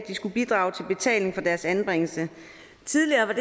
skulle bidrage til betaling for deres anbringelse tidligere var